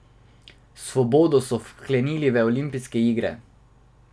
Svobodo so vklenili v olimpijske verige.